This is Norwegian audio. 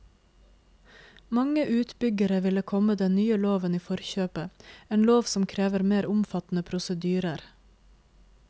Mange utbyggere ville komme den nye loven i forkjøpet, en lov som krever mer omfattende prosedyrer.